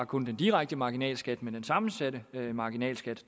kun den direkte marginalskat men den sammensatte marginalskat